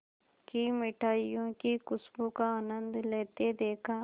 की मिठाइयों की खूशबू का आनंद लेते देखा